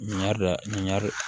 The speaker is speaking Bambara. Ɲɛri ɲɔ